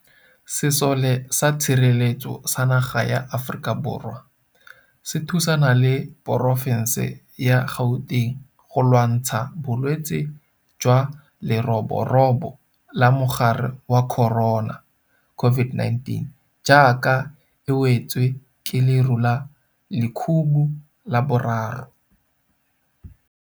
Sesole sa Tshireletso ya Naga ya Aforika Borwa SANDF se thusana le porofense ya Gauteng go lwantsha Bolwetse jwa Leroborobo la Mogare wa Corona COVID-19, jaaka e we tswe ke leru la lekhubu la boraro.